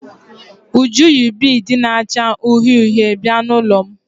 Uju yi biidi na-acha uhie uhie bịa n'ụlọ m.